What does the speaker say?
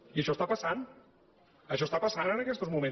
i això està passant això està passant en aquests moments